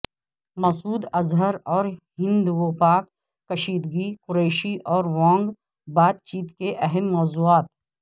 مسعود اظہر اور ہندوپاک کشیدگی قریشی اور وانگ بات چیت کے اہم موضوعات